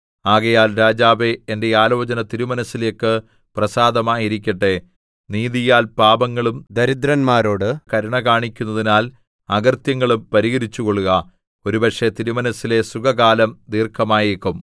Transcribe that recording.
ആകയാൽ രാജാവേ എന്റെ ആലോചന തിരുമനസ്സിലേക്ക് പ്രസാദമായിരിക്കട്ടെ നീതിയാൽ പാപങ്ങളും ദരിദ്രന്മാരോട് കരുണ കാണിക്കുന്നതിനാൽ അകൃത്യങ്ങളും പരിഹരിച്ചുകൊള്ളുക ഒരുപക്ഷെ തിരുമനസ്സിലെ സുഖകാലം ദീർഘമായേക്കും